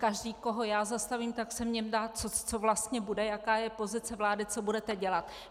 Každý, koho já zastavím, tak se mě ptá, co vlastně bude, jaká je pozice vlády, co budete dělat.